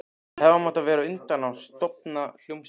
Við hefðum átt að verða á undan að stofna hljómsveit.